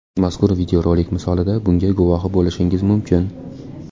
Mazkur videorolik misolida bunga guvohi bo‘lishingiz mumkin.